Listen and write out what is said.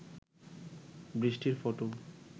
বৃষ্টির ফটো